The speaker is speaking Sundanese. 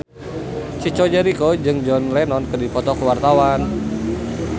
Chico Jericho jeung John Lennon keur dipoto ku wartawan